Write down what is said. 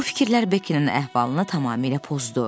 Bu fikirlər Beckynin əhvalını tamamilə pozdu.